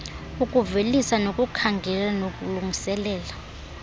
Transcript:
ukuvelisa nokukhangela nokulungiselela